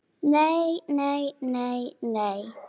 Nei, nei, nei, nei.